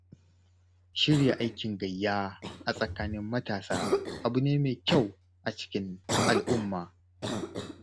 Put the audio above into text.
Shirya aikin gayya a tsakanin matasa abu ne mai kyau a cikin al'umma.